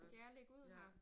Skal jeg lægge ud her?